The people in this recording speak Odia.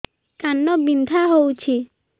କାନ ବିନ୍ଧା ହଉଛି